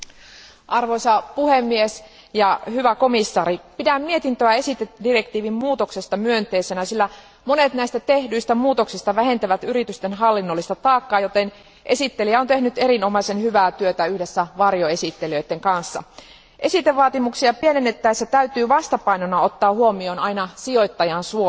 Arvoisa puhemies, hyvä komission jäsen, pidän mietintöä esitedirektiivin muuttamisesta myönteisenä, sillä monet näistä tehdyistä muutoksista vähentävät yritysten hallinnollista taakkaa, joten esittelijä on tehnyt erinomaisen hyvää työtä yhdessä varjoesittelijöiden kanssa. Esitevaatimuksia pienennettäessä täytyy vastapainona ottaa huomioon aina sijoittajan suoja.